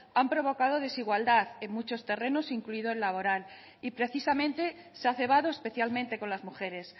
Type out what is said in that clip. han provocado desigualdad en muchos terrenos incluido el laboral y precisamente se ha cebado especialmente con las mujeres